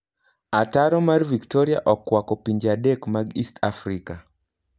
Ataro mar Victoria okwako pinje adek mag East Africa.